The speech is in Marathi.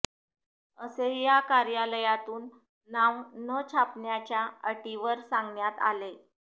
असे या कार्यालयातून नाव न छापण्याच्या अटीवर सांगण्यात आले